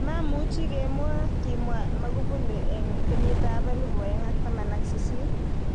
Mamuchi kemuo,"kimwa Magufuli eng 2018.